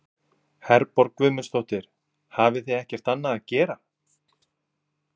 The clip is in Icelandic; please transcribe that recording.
Herborg Guðmundsdóttir: Hafið þið ekkert annað að gera?